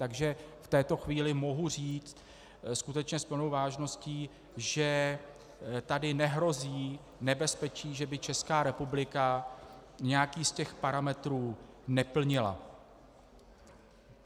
Takže v této chvíli mohu říct skutečně s plnou vážností, že tady nehrozí nebezpečí, že by Česká republika nějaký z těch parametrů neplnila.